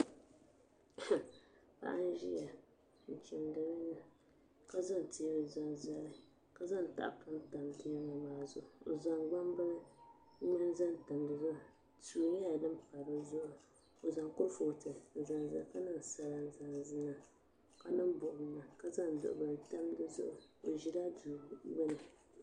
Paɣa n ʒiya n chimdi nyuli ka zaŋ teebuli zaŋ zali ka zaŋ tahapoŋ tam teebuli maa zuɣu o zaŋ ŋmani zaŋ pa dizuɣu suu nyɛla din pa dizuɣu o zaŋ kurifooti n zaŋ zali ka niŋ sala niŋ ka niŋ buɣum niŋ ka zaŋ duɣubli tam dizuɣu o ʒila duu gbuni